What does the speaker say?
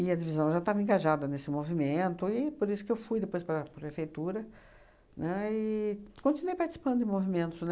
e a divisão já estava engajada nesse movimento, e por isso que eu fui depois para a prefeitura, né, e continuei participando de movimentos,